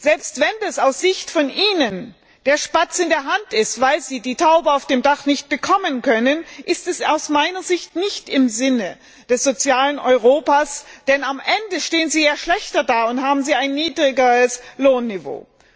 Selbst wenn das aus ihrer Sicht der Spatz in der Hand ist, weil sie die Taube auf dem Dach nicht bekommen können, ist es aus meiner Sicht nicht im Sinne des sozialen Europas, denn am Ende stehen sie ja schlechter da und haben ein niedrigeres Lohnniveau.